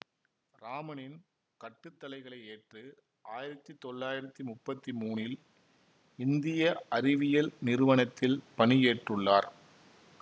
இராமனின் கட்டுத்தளைகளையேற்று ஆயிரத்தி தொள்ளாயிரத்தி முப்பத்தி மூனில் இந்திய அறிவியல் நிறுவனத்தில் பணியேற்றுள்ளார்